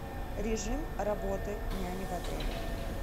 режим работы няни в отеле